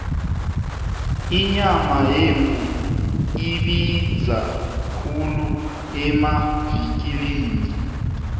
inyama yemvu ibiza khulu emavikilini